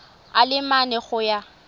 a le mane go ya